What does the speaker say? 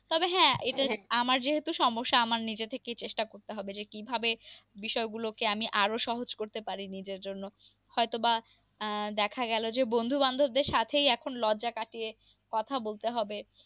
তবে হ্যাঁ, এটাই আমার যেহেতু সমস্যা আমার নিজে থেকেই চেষ্টা করতে হবে, যে কি ভাবে বিষয় গুলো কে আমি আরো সহজ করতে পারি নিজের জন্য হয়ত বা আহ দেখা গেল যে, বন্ধু বান্ধব দের সাথেই এখন লজ্জা কাটিয়ে, কথা বলতে হবে।